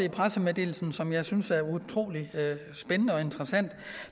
i pressemeddelelsen som jeg synes er utrolig spændende og interessant og